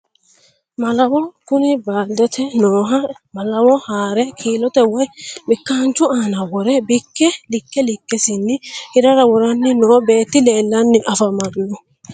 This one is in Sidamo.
Malawo kuni baaldete nooha malawo haare kiilote woyi bikkaanchu aana wore bikke likke likkesinnj hirara woranni noo beetti leellanni afamannno